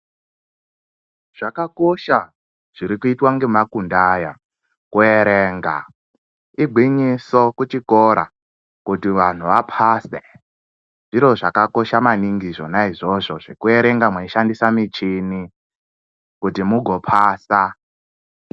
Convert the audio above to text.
Zvakakosha zviri kuitwa nge makundi aya ku erenga igwinyiso ku chikora kuti vanhu vapase zviro zvaka kosha maningi izvona izozvo zveku erenga mwei shandisa michini kuti mugo pasa.